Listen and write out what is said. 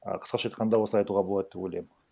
а қысқаша айтқанда осылай айтуға болады деп ойлаймын